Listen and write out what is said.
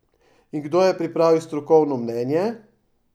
In kdo je pripravil strokovno mnenje?